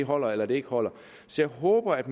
holder eller ikke holder så jeg håber at